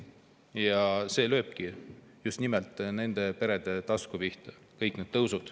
Kõik need tõusud löövadki just nimelt nende perede tasku pihta.